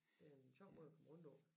Det er en sjov må at komme rundt på